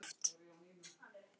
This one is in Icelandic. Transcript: Við gerum það oft.